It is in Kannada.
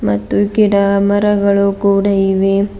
ಮತ್ತು ಗಿಡ ಮರಗಳು ಕೂಡ ಇವೆ.